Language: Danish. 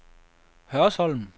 Hørsholm